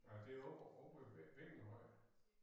Nej det op op ovre ved Vingelhøj